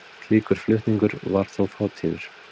Slíkur flutningur var þó fátíður.